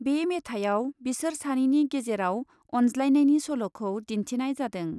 बे मेथाइयाव बिसोर सानैनि गेजेराव अनज्लायनायनि सल'खौ दिन्थिनाय जादों।